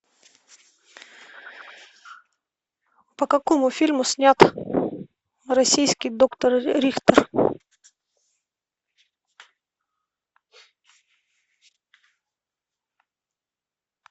по какому фильму снят российский доктор рихтер